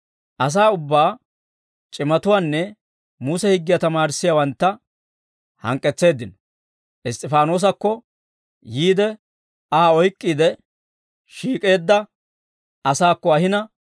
Asaa ubbaa, c'imatuwaanne Muse higgiyaa tamaarissiyaawantta hank'k'etseeddino; Iss's'ifaanoosakko yiide Aa oyk'k'iide, shiik'eedda asaakko ahina,